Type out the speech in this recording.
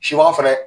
Sibaga fɛnɛ